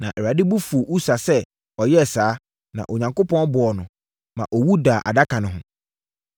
Na Awurade bo fuu Usa sɛ ɔyɛɛ saa, na Onyankopɔn bɔɔ no, maa ɔwu daa adaka no ho.